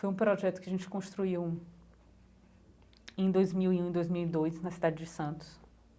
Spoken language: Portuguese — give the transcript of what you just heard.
Foi um projeto que a gente construiu em dois mil e um e dois mil e dois, na cidade de Santos.